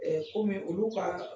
komi olu ka